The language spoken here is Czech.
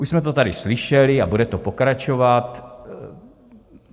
Už jsme to tady slyšeli a bude to pokračovat.